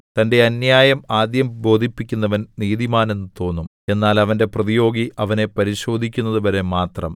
തന്റെ അന്യായം ആദ്യം ബോധിപ്പിക്കുന്നവൻ നീതിമാൻ എന്ന് തോന്നും എന്നാൽ അവന്റെ പ്രതിയോഗി അവനെ പരിശോധിക്കുന്നതുവരെ മാത്രം